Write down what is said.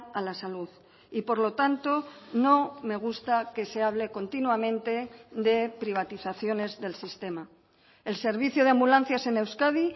a la salud y por lo tanto no me gusta que se hable continuamente de privatizaciones del sistema el servicio de ambulancias en euskadi